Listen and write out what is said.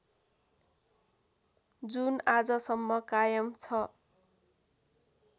जुन आजसम्म कायम छ